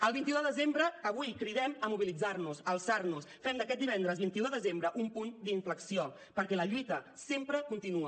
el vint un de desembre avui cridem a mobilitzar nos a alçar nos fem d’aquest divendres vint un de desembre un punt d’inflexió perquè la lluita sempre continua